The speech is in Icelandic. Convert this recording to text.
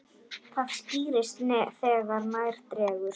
Það skýrist þegar nær dregur.